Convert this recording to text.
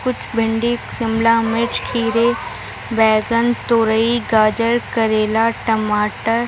भिंडी शिमला मिर्च खीरे बैँगन तोरई गाजर करेला टमाटर --